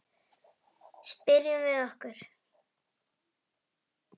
Spyrjum við okkur.